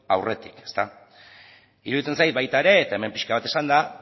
aurretik iruditzen zait baita ere eta hemen pixka bat esan da